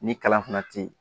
Ni kalan fana tɛ ye